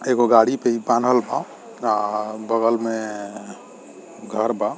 एगो गाड़ी पे इ बांधल बा आ बगल में घर बा।